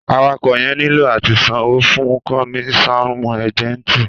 Àwàko yẹn nílò àtí ṣan owo fún komisanu éjẹńtì